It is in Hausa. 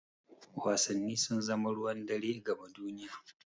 Wasanni sun zama ruwan dare gama duniya.